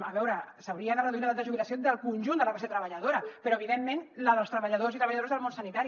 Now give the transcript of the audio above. a veure s’hauria de reduir l’edat de jubilació del conjunt de la classe treballadora però evidentment la dels treballadors i treballadores del món sanitari